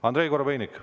Andrei Korobeinik.